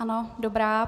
Ano, dobrá.